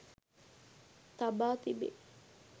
තබා තිබේ